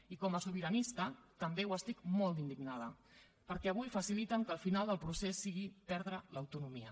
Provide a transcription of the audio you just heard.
i com a sobiranista també ho estic molt d’indignada perquè avui faciliten que el final del procés sigui perdre l’autonomia